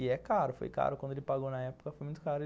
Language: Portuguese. E é caro, foi caro quando ele pagou na época, foi muito caro.